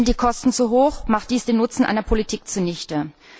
Sind die Kosten zu hoch, macht dies den Nutzen einer Politik zunichte.